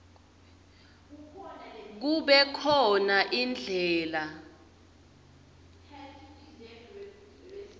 kube khona indlela